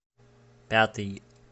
пятый